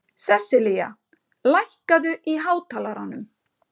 Seselía, lækkaðu í hátalaranum.